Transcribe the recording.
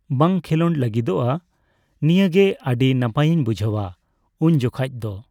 ᱵᱟᱝ ᱠᱷᱮᱸᱞᱳᱰ ᱞᱟᱜᱤᱫᱚᱜᱼᱟ ᱾ ᱱᱤᱭᱟᱹᱜᱮ ᱟᱹᱰᱤ ᱱᱟᱯᱟᱭᱤᱧ ᱵᱩᱡᱷᱟᱹᱣᱟ, ᱩᱱᱡᱚᱠᱷᱟᱡ ᱫᱚ ᱾